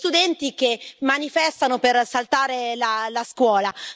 Sono loro a dettare la linea a tutta l'Europa.